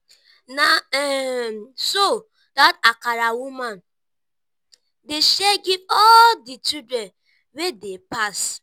na um so dat akara woman dey share give all di children wey dey pass.